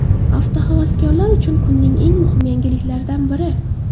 Avtohavaskorlar uchun kunning eng muhim yangiliklaridan biri.